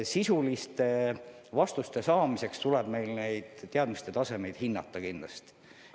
Sisuliste vastuste saamiseks tuleb meil neid teadmiste tasemeid kindlasti hinnata.